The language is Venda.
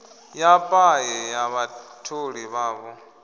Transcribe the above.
ya paye ya vhatholi vhavho